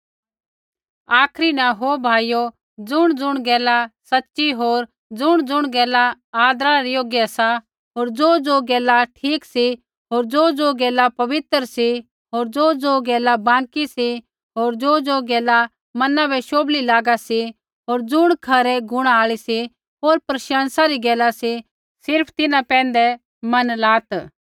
आखरी न ओ भाइयो ज़ुणज़ुण गैला सच़ी होर ज़ुणज़ुण गैला आदरा रै योग्य सा होर ज़ोज़ो गैला ठीक सी होर ज़ोज़ो गैला पवित्र सी होर ज़ोज़ो गैला बाँकी सी होर ज़ोज़ो गैला मना बै शोभली लगा सी होर ज़ुण खरै गुणा आल़ी सी होर प्रशंसा री गैला सी सिर्फ़ तिन्हां पैंधै मन लात्